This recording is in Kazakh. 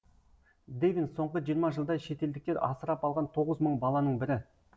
дэвин соңғы жиырма жылда шетелдіктер асырап алған тоғыз мың баланың бірі